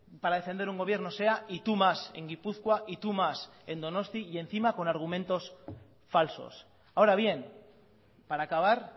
para defender un gobierno sea y tú más en gipuzkoa y tú más en donostia y encima con argumentos falsos ahora bien para acabar